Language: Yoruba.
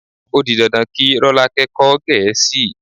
O di dandan kí Rọ́lákẹ́ kọ́ Gẹ̀ẹ́sì.